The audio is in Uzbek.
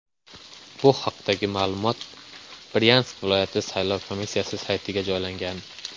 Bu haqdagi ma’lumot Bryansk viloyati saylov komissiyasi saytiga joylangan .